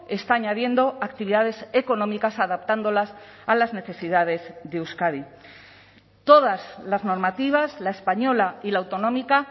está añadiendo actividades económicas adaptándolas a las necesidades de euskadi todas las normativas la española y la autonómica